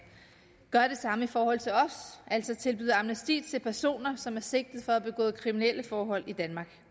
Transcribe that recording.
gør det samme i forhold til os altså tilbyder amnesti til personer som er sigtet for at have begået kriminelle forhold i danmark